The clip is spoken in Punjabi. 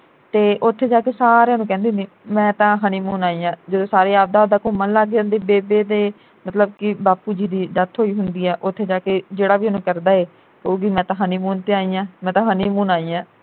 ਤੇ ਉਥੇ ਜਾ ਕੇ ਸਾਰਿਆਂ ਨੂੰ ਕਹਿੰਦੀ ਹੁੰਦੀ ਮੈਂ ਤਾ honeymoon ਆਈ ਆ ਜਦੋਂ ਸਾਰੇ ਆਪਦਾ ਆਪਦਾ ਘੁੰਮਣ ਲੱਗ ਜਾਂਦੇ ਬੇਬੇ ਤੇ ਮਤਲਬ ਕਿ ਬਾਪੂ ਜੀ ਦੀ death ਹੋਈ ਹੁੰਦੀ ਐ ਉਥੇ ਜਾ ਕੇ ਜਿਹੜਾ ਵੀ ਉਹਨੂੰ ਕਰਦਾ ਐ ਕਹੁਗੀ ਮੈਂ ਤਾ honeymoon ਤੇ ਆਈ ਆ ਮੈਂ ਤਾ honeymoon ਆਈ ਆ